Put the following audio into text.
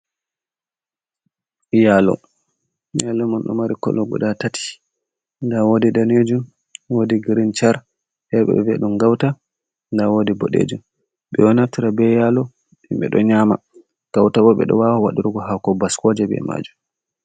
Yalo nyalle man ɗo mari kolo guda tati da wodi danejum wodi grin char fere ɓeɗo vi'a ɗum gauta nda wodi boɗejum. Ɓeɗo naftira be yalo ɓeɗo nyama, gauta bo ɓeɗo wawa wadurgo hako baskoje be majum.